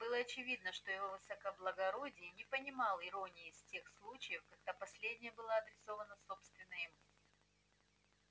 было очевидно что его высокоблагородие не понимал иронии в тех случаях когда последняя была адресована собственно ему